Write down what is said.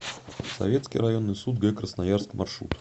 советский районный суд г красноярск маршрут